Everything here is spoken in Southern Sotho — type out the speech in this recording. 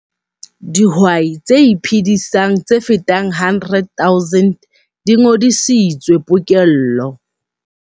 Dihwai tse iphedisang tse fetang 100 000 di ngodisitswe pokello.